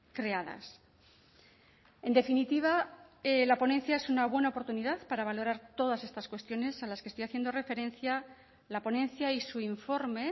creadas en definitiva la ponencia es una buena oportunidad para valorar todas estas cuestiones a las que estoy haciendo referencia la ponencia y su informe